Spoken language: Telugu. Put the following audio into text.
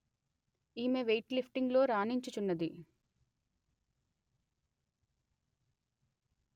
ఈమె వెయిట్ లిఫ్టింగులో రాణించుచున్నది